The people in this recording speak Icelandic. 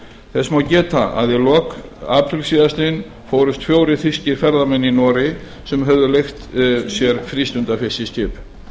þess má geta að í lok apríl síðastliðinn fórust fjórir þýskir ferðamenn í noregi sem höfðu leigt sér frístundafiskiskip